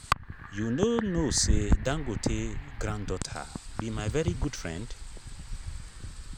you no know say dangote granddaughter be my very good friend